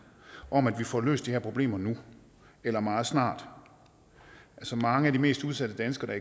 om at vi får løst de her problemer nu eller meget snart mange af de mest udsatte danskere